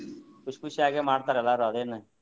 ಖುಷಿ ಖುಷಿಯಾಗೆ ಮಾಡ್ತಾರೆ ಎಲ್ಲಾರು ಅದೇನ್ನ.